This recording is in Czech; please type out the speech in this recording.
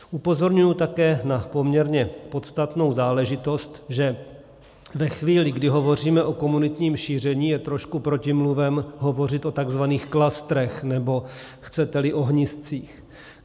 Upozorňuji také na poměrně podstatnou záležitost, že ve chvíli, kdy hovoříme o komunitním šíření, je trošku protimluvem hovořit o tzv. klastrech, nebo, chcete-li, ohniscích.